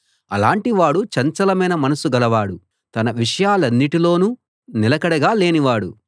అలాటి వాడు చంచలమైన మనసు గలవాడు తన విషయాలన్నిటిలోనూ నిలకడ లేనివాడు